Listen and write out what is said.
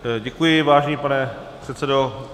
Děkuji, vážený pane předsedo.